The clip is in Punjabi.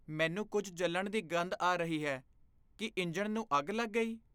ਮੈਨੂੰ ਕੁੱਝ ਜਲਣ ਦੀ ਗੰਧ ਆ ਰਹੀ ਹੈ। ਕੀ ਇੰਜਣ ਨੂੰ ਅੱਗ ਲੱਗ ਗਈ?